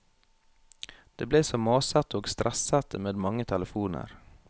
Det ble så masete og stressete med mange telefoner.